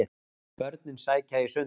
Börnin sækja í sund